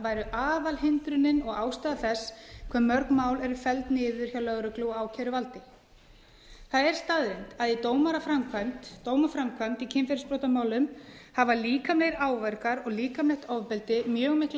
væri aðalhindrunin og ástæða þess hve mörg mál eru felld niður hjá lögreglu og ákæruvaldi það er staðreynd að í dómaframkvæmd í kynferðisbrotamálum hafa líkamlegir áverkar og líkamlegt ofbeldi mjög mikla